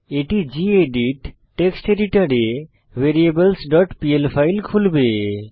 এটি gedit text এডিটরে variables dot pl file খুলবে